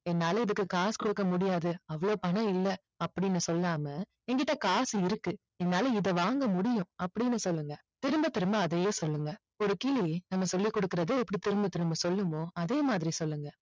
என்னால இதுக்கு காசு கொடுக்க முடியாது அவ்வளவு பணம் இல்ல அப்படின்னு சொல்லாம என்கிட்ட காசு இருக்கு என்னால இதை வாங்க முடியும் அப்படின்னு சொல்லுங்க திரும்ப திரும்ப அதையே சொல்லுங்க ஒரு கிளி நம்ம சொல்லி கொடுக்குறத எப்படி திரும்ப திரும்ப சொல்லுமோ அதே மாதிரி சொல்லுங்க